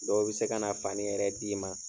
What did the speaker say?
Dɔw bɛ se ka na fani yɛrɛ d'i ma.